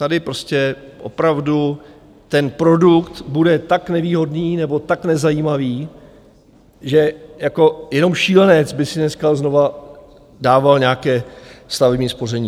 Tady prostě opravdu ten produkt bude tak nevýhodný nebo tak nezajímavý, že jako jenom šílenec by si dneska znovu dával nějaké stavební spoření.